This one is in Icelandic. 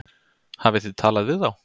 Hafið þið talað við þá?